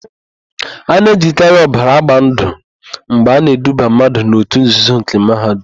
A na-ejikarị ọbara agba ndụ mgbe a na-eduba mmadụ n'òtù nzuzo nke Mahadum.